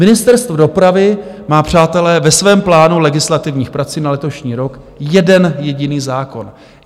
Ministerstvo dopravy má, přátelé, ve svém plánu legislativních prací na letošní rok jeden jediný zákon.